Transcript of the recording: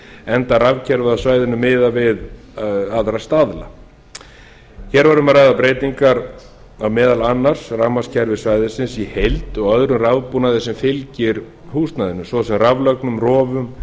enda rafkerfið á svæðinu miðað við aðra staðla hér var um að ræða breytingar á meðal annars rafmagnskerfi svæðisins í heild og öðrum rafbúnaði sem fylgir húsnæðinu svo sem raflögnum